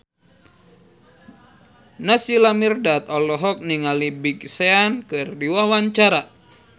Naysila Mirdad olohok ningali Big Sean keur diwawancara